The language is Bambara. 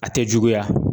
A tɛ juguya